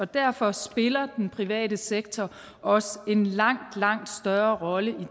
derfor spiller den private sektor også en langt langt større rolle